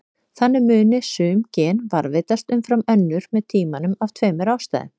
Þannig muni sum gen varðveitast umfram önnur með tímanum af tveimur ástæðum.